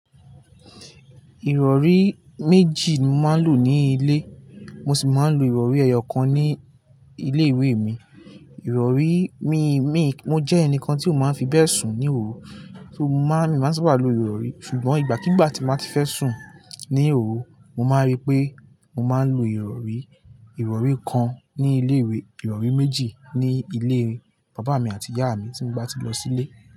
Ìrọ̀rí méjì ni mo máa ń lò ní ilé, mo sì máa ń lo ìrọ̀rí ẹyọ kan ní ilé ìwé mi. Ìrọ̀rí mi, mi, mo jẹ́ ẹnìkan tí ó máa ń fi bẹ́ẹ̀ sùn ní òru, tó má mi máa ń sáábà lo ìrọ̀rí. Ṣùgbọ́n ìgbàkígbà tí mo bá ti fẹ́ sùn ní òru, mo máa rí pé mo máa ń lo ìrọ̀rí, ìrọ̀rí kan ní ilé ìwé, ìrọ̀rí méjì ní ilé bàbá mi àti ìyá mi tí mo bá ti lọ sílé.